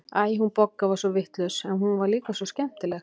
Æ, hún Bogga var svo vitlaus, en hún var líka svo skemmtileg.